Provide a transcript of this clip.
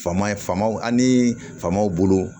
Fama ye famaw ani famaw bolo